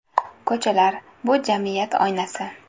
Ko‘chalar, bu – jamiyat oynasi.